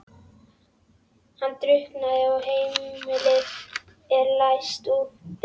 Hann drukknar og heimilið er leyst upp.